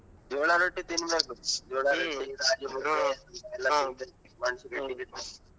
ಜೋಳಾ ರೊಟ್ಟಿ ತಿನ್ನ್ಬೇಕು .